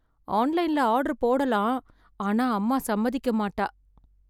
ஆன்லைன்ல ஆர்டர் போடலாம் ஆனா அம்மா சம்மதிக்க மாட்டா.